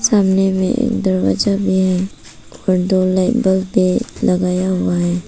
सामने में एक दरवाजा भी है और दो लाइट बल्ब भी लगाया हुआ है।